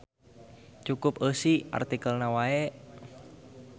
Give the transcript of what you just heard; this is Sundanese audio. Cukup eusi artikelna wae.